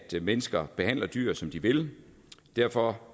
mennesker behandler dyr som de vil og derfor